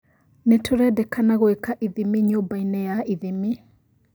Nĩtũrendekana gwĩka ithimi nyũmba-inĩ ya ithimi